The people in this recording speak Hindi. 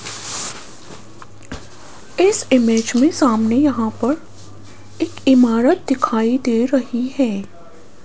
इस इमेज में सामने यहां पर एक इमारत दिखाई दे रही है।